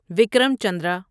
Vikram Chandra